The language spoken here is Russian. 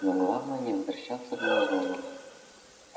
но главное не возвращаться б на зону